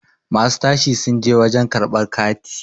masu tashi sun je wajen karabr kati